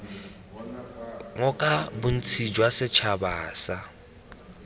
ngoka bontsi jwa setšhaba sa